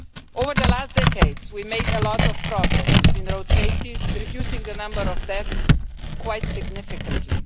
Over the last decades we made a lot of progress in road safety, reducing the number of deaths quite significantly.